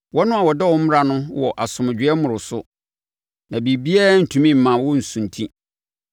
Wɔn a wɔdɔ wo mmara no wɔ asomdwoeɛ mmoroso, na biribiara rentumi mma wɔnsunti.